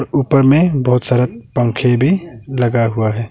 ऊपर में बहुत सारा पंखे भी लगा हुआ है।